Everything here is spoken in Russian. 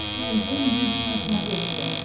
тнт мьюзик на смотрешке